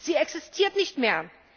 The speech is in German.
Sie existiert nicht mehr.